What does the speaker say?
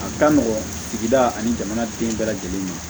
A ka nɔgɔn sigida ani jamanaden bɛɛ lajɛlen ɲɛ